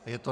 Je to